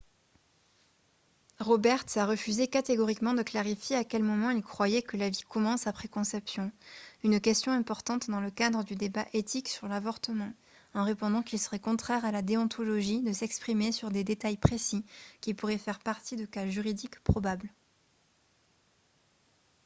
roberts a refusé catégoriquement de clarifier à quel moment il croyait que la vie commence après conception une question importante dans le cadre du débat éthique sur l'avortement en répondant qu'il serait contraire à la déontologie de s'exprimer sur des détails précis qui pourraient faire partie de cas juridiques probables